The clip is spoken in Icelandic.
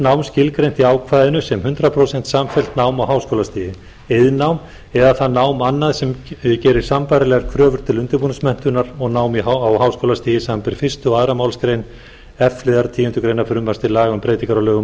nám skilgreint í ákvæðinu sem hundrað prósent samfellt nám á háskólastigi iðnnám eða það nám annað sem gerir sambærilegar kröfur til undirbúningsmenntunar og nám á háskólastigi samanber fyrstu og annarri málsgrein f liðar tíundu greinar frumvarps til laga um breytingu á lögum um